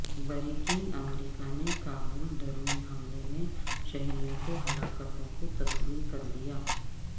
بریکنگامریکہ نے کابل ڈرون حملے میں شہریوں کی ہلاکتوں کو تسلیم کر لیا